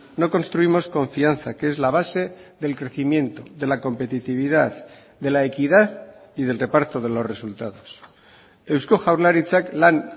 no construimos confianza que es la base del crecimiento de la competitividad de la equidad y del reparto de los resultados eusko jaurlaritzak lan